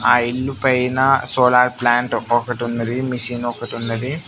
ఆ ఇల్లు పైన సోలార్ ప్లాంట్ ఒక్కొక్కటి ఉన్నది మిషన్ ఒకటి ఉన్నది.